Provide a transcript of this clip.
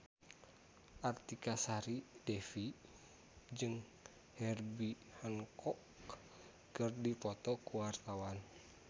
Artika Sari Devi jeung Herbie Hancock keur dipoto ku wartawan